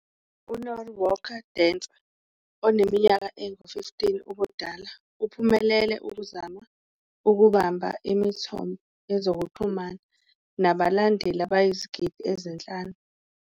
"U-Norwalk Dancer oneminyaka engu-15 ubudala Uphumelela ukuzama ukubamba imithombo yezokuxhumana nabalandeli abayizigidi ezinhlanu".